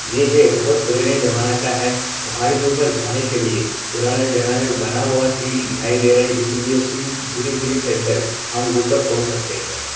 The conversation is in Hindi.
यह बहोत पुरेने जमाना का है पहाड़ के ऊपर जाने के लिए पुराने जनाने में बना हुआ सीढ़ी दिखाई दे रहा है इस सीढ़ियों से धीरे धीरे चढ़कर हम ऊपर पहुंच सकते हैं।